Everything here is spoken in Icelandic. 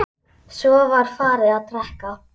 Svo var farið að drekka.